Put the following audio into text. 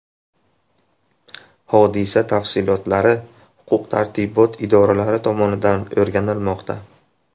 Hodisa tafsilotlari huquq-tartibot idoralari tomonidan o‘rganilmoqda.